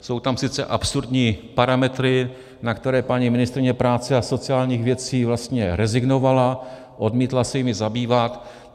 Jsou tam sice absurdní parametry, na které paní ministryně práce a sociálních věcí vlastně rezignovala, odmítla se jimi zabývat.